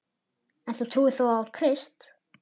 En þú trúir þó á Krist?